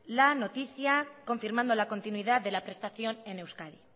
la noticia confirmando la continuidad de la prestación en euskadi